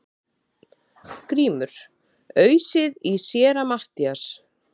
GRÍMUR: Ausið í Séra Matthías!